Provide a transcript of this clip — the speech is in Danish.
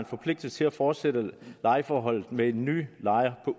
forpligtet til at fortsætte lejeforholdet med en ny lejer